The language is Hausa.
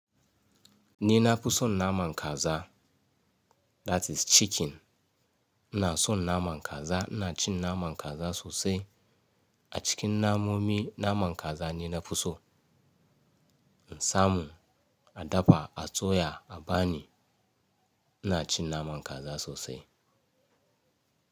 Ni na fi son naman kaza that is chicken. Ina son naman kaza, ina cin naman kaza sosai. A cikin namomi naman kaza ne na fi so. In samu a dafa, a soya a bani ina cin naman kaza sosai.